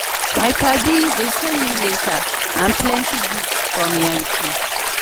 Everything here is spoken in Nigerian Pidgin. my paddy dey send me letter and plenty gift from yankee.